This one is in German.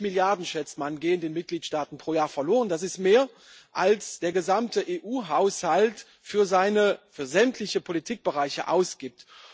170 Milliarden schätzt man gehen den Mitgliedstaaten pro Jahr verloren, das ist mehr, als der gesamte EU Haushalt für sämtliche Politikbereiche ausgibt.